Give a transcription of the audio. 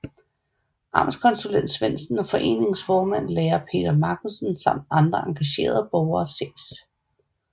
Amtskonsulent Svendsen og foreningens formand lærer Peter Marcussen samt andre engagerede borgere ses